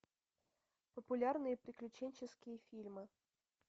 популярные приключенческие фильмы